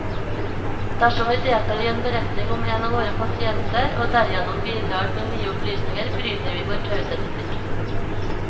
Dersom vi deltar i en beretning om en av våre pasienter, og derigjennom bidrar med nye opplysninger, bryter vi vår taushetsplikt.